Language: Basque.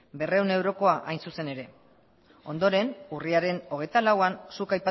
berrehun eurotakoa hain zuzen ere ondoren urriaren hogeita lauean